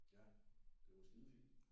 Ja det var skide fint